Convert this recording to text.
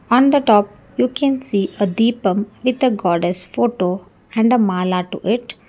on the top you can see a dipam with a goddess photo and a mala to it.